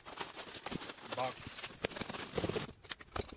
box